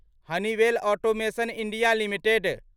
Honeywell automation India limited